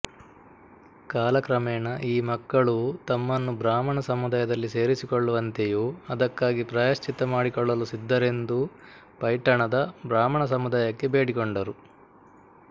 ಕಾಲಕ್ರಮೇಣ ಈ ಮಕ್ಕಳೂ ತಮ್ಮನ್ನು ಬ್ರಾಹ್ಮಣ ಸಮುದಾಯದಲ್ಲಿ ಸೇರಿಸಿಕೊಳ್ಳುವಂತೆಯೂ ಅದಕ್ಕಾಗಿ ಪ್ರಾಯಶ್ಚಿತ್ತ ಮಾಡಿಕೊಳ್ಳಲು ಸಿದ್ಧರೆಂದೂ ಪೈಠಣದ ಬ್ರಾಹ್ಮಣ ಸಮುದಾಯಕ್ಕೆ ಬೇಡಿಕೊಂಡರು